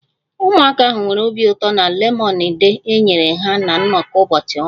Ụmụaka ahụ nwere obi ụtọ na lemonade enyere ha na nnọkọ ụbọchị ọmụmụ